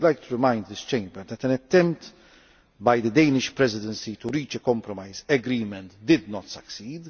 I would also like to remind this Chamber that an attempt by the Danish Presidency to reach a compromise agreement did not succeed.